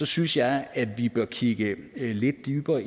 synes jeg at vi bør kigge lidt dybere